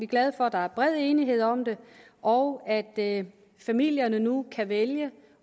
glade for at der er bred enighed om det og at familierne nu kan vælge